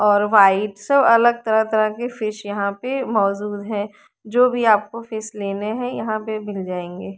और व्हाइट सब अलग तरह तरह के फिश यहां पे मौजूद हैं जो भी आपको फिश लेने हैं यहां पे मिल जाएंगे।